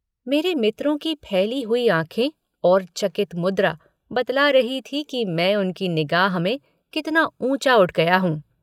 मेरे मित्रों की फैली हुई आँखें और चकित मुद्रा बतला रही थी कि मैं उनकी निगाह में कितना ऊँचा उठ गया हूँ।